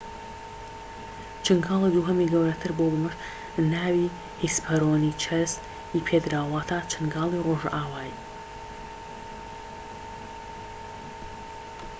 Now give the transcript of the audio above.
چنگاڵی دووهەمی گەورەتر بووە و بەمەش ناوی هیسپەرۆنیچەس ی پێدراوە واتە چنگاڵی ڕۆژئاوایی